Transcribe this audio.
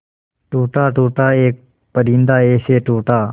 टूटा टूटा एक परिंदा ऐसे टूटा